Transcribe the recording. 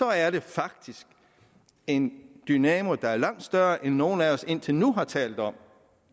er det faktisk en dynamo der er langt større end nogen af os indtil nu har talt om